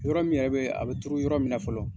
Yɔrɔ min yɛrɛ bɛ a bɛ turu yɔrɔ min na fɔlɔ.